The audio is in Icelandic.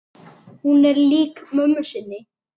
Hún er lík mömmu sinni.